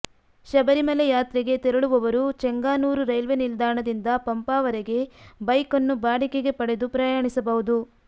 ಶಬರಿಮಲೆ ಯಾತ್ರೆಗೆ ತೆರಳುವವರು ಚೆಂಗಾನೂರ್ ರೈಲ್ವೆ ನಿಲ್ದಾಣದಿಂದ ಪಂಪಾವರೆಗೆ ಬೈಕ್ ಅನ್ನು ಬಾಡಿಗೆಗೆ ಪಡೆದು ಪ್ರಯಾಣಿಸಬಹುದು